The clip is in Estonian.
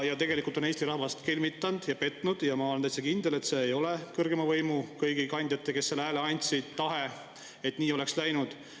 Tegelikult on ta Eesti rahvast kelmitanud ja petnud ja ma olen täitsa kindel, et see, et nii läks, ei olnud kõigi nende kõrgeima võimu kandjate tahe, kes selle hääle andsid.